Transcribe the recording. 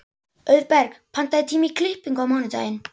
Auðberg, pantaðu tíma í klippingu á mánudaginn.